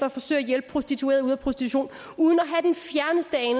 at forsøge at hjælpe prostituerede ud af prostitution uden